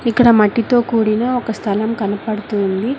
ఇక్కడ మట్టితో కూడిన ఒక స్థలం కనబడుతూ ఉంది.